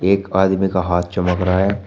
एक आदमी का हाथ चमक रहा है।